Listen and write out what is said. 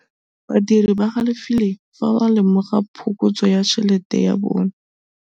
Badiri ba galefile fa ba lemoga phokotsô ya tšhelête ya bone.